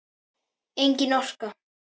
Engin orka.